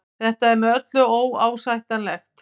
Þetta er með öllu óásættanlegt